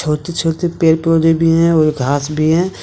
बहुत छोटे पेड़ पौधे भी हैं और घास भी है।